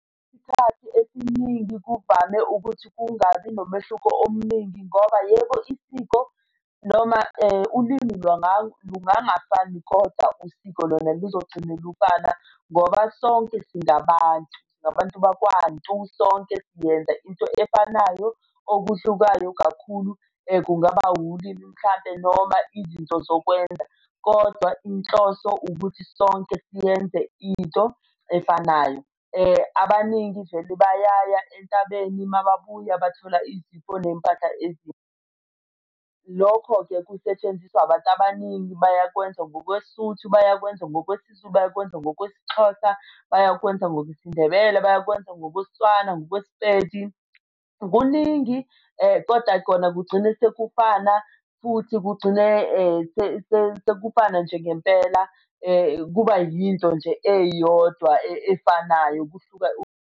Isikhathi esiningi kuvame ukuthi kungabi nomehluko omningi ngoba yebo isiko noma ulimi lungangafani, kodwa usiko lona kuzogcine lufana. Ngoba sonke singabantu singabantu bakwantu sonke siyenza into efanayo. Okuhlukayo kakhulu kungaba ulimi mhlampe noma izinto zokwenza kodwa inhloso ukuthi sonke siyenze into efanayo. Abaningi vele bayaya entabeni mababuya bathola izipho ney'mpahla ezintsha. Lokho-ke kusetshenziswa abantu abaningi bayakwenza ngokweSuthu, bayakwenza ngokwesiZulu, bayakwenza ngokwesiXhosa, bayakwenza ngokwesiNdbele, bayakwenza ngokwesiTswana, ngokwesiPedi. Kuningi koda kona kugcine sekufana futhi kugcine sekufana nje ngempela kuba yinto nje eyodwa efanayo kuhluka.